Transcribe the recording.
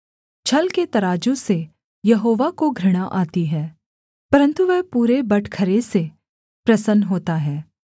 छल के तराजू से यहोवा को घृणा आती है परन्तु वह पूरे बटखरे से प्रसन्न होता है